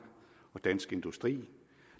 og dansk industri